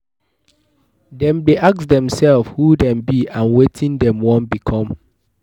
Dem de ask themselves who them be and wetin dem won become